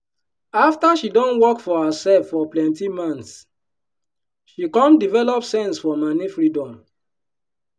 afta she don work for her sef for plenty months she come develop sense for moni freedom.